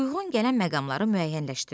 Uyğun gələn məqamları müəyyənləşdir.